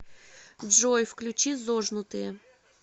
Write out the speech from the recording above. джой включи зожнутые